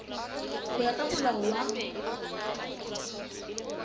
ho ya ka molao wa